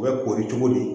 U bɛ kori cogo di